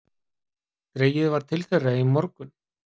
Dregið var til þeirra í morgun